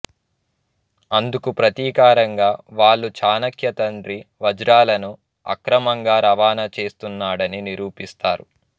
అందుకు ప్రతీకారంగా వాళ్ళు చాణక్య తండ్రి వజ్రాలను అక్రమంగా రవాణా చేస్తున్నాడని నిరూపిస్తారు